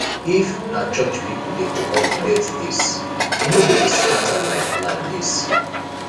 if na church people dey coordinate this e no go dey scatter like like this